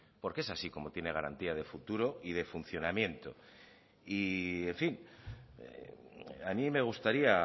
porque es así como tiene garantía de futuro y de funcionamiento y en fin a mí me gustaría